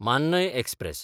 मान्नय express